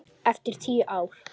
Eftir tíu ár.